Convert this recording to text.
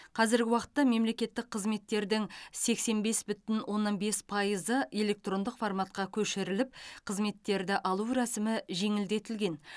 қазіргі уақытта мемлекеттік қызметтердің сексен бес бүтін оннан бес пайызы электрондық форматқа көшіріліп қызметтерді алу рәсімі жеңілдетілген